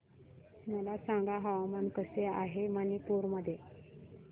मला सांगा हवामान कसे आहे मणिपूर मध्ये